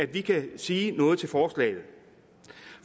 vi kan sige noget til forslaget